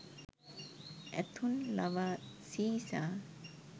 ඇතුන් ලවා සීසා